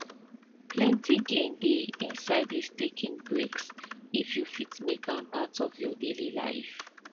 plenty gain dey inside this taking breaks if you fit make am part of your daily life